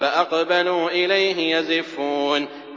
فَأَقْبَلُوا إِلَيْهِ يَزِفُّونَ